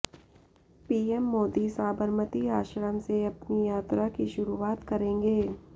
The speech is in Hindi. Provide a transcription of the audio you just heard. पीएम मोदी साबरमती आश्रम से अपनी यात्रा की शुरुआत करेंगे